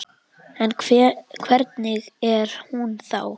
En hvernig er hún þá?